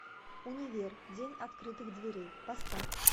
универ день открытых дверей поставь